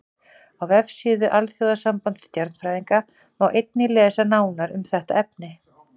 Á vefsíðu Alþjóðasambands stjarnfræðinga má einnig lesa nánar um þetta efni.